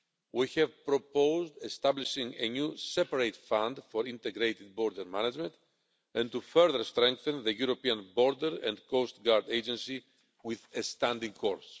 We have proposed establishing a new, separate fund for integrated border management and further strengthening the European Border and Coastguard Agency with a standing corps.